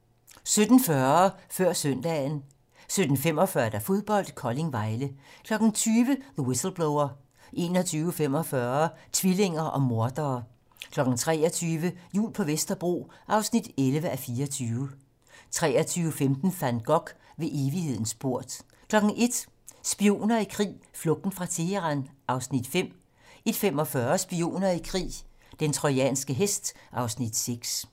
17:40: Før søndagen 17:45: Fodbold: Kolding-Vejle 20:00: The Whistleblower 21:45: Tvillinger og mordere 23:00: Jul på Vesterbro (11:24) 23:15: Van Gogh - Ved evighedens port 01:00: Spioner i krig: Flugten fra Teheran (Afs. 5) 01:45: Spioner i krig: Den trojanske hest (Afs. 6)